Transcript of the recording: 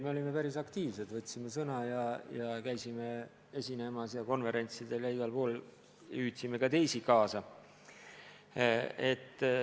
Me olime päris aktiivsed, võtsime sõna ja käisime esinemas konverentsidel ja igal pool mujal, hüüdsime ka teisi kaasa.